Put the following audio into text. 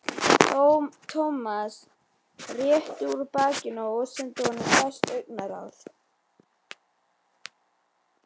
Thomas rétti úr bakinu og sendi honum hvasst augnaráð.